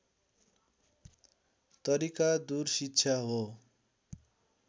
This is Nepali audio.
तरिका दूर शिक्षा हो